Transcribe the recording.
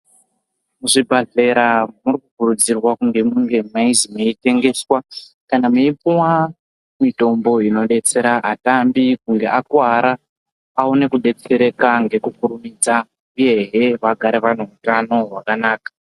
Muzvibhedhlera murikukurudzirwa kuzvi munge meizi muitengeswa kana muipuva mitombo inobetsera atambi kunge akuvara. Aone kubetsereka ngekukurumidza, uyehe vagare vanehutano hwakanaka.